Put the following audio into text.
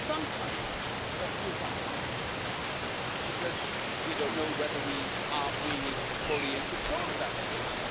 Sometimes that feels uncomfortable because we don't know whether we are really fully in control of that destiny.